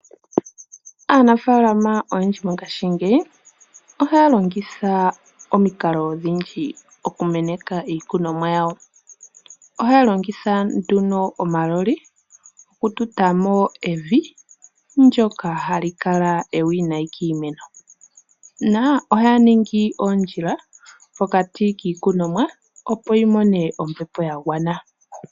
Aanafalama oyendji mongashi ngeyi ohaya longitha omikalo odhindji okumeneka iikunomwa yawo ohaya longitha omaloli okututamo evi ndyoka hali kala ewinayi kiimeno, nohaya ningi ondjila mpoka ti kiikunomwa opo yi mone ombepo ya gwana.